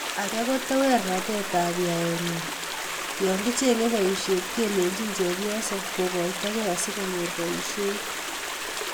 Age ko tewernatetab yaenyi yokichenge boisiet kelechini chepyoso kokoito kei asikonyor boisiet